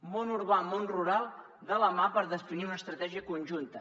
món urbà i món rural de la mà per definir una estratègia conjunta